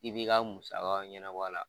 I b'i ka musa ɲɛnabɔ la